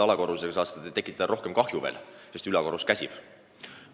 Alakorrusega saavad nad tekitada palju kahju, sest ülakorrus käsib.